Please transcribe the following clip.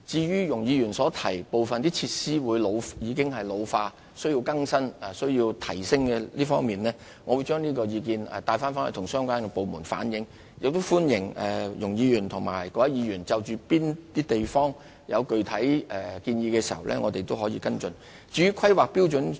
容議員提到部分設施已經老化，需要更新和提升，我會將有關意見向相關部門轉達和反映，亦歡迎容議員和各位議員就各個地區的設施提出具體建議，讓我們作出跟進。